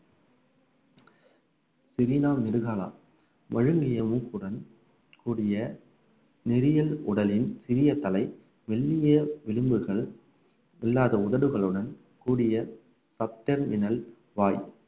பெரினா நெடுகாலா வழுங்கிய மூக்குடன் கூடிய நெறியல் உடலின் சிறிய தலை மெல்லிய விளிம்புகள் இல்லாத உதடுகளுடன் கூடிய வாய்